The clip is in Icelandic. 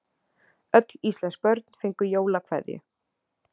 Öll íslensk börn fengu jólakveðju.